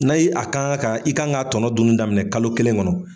N'a' a kan ka i kan k'a tɔnɔ dunun daminɛ kalo kelen kɔnɔ.